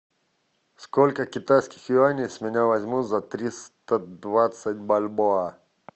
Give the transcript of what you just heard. сколько китайских юаней с меня возьмут за триста двадцать бальбоа